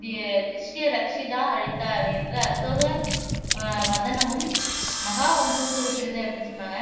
தி திஷ்யரக்‌ஷிதா அழித்தார் என்று அசோக அஹ் வதனமும், மகாவம்சமும் குறிப்பிடுது அப்படின்னு சொன்னாங்க